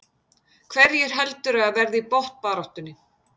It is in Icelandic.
Hverjir heldurðu að verði í botnbaráttunni?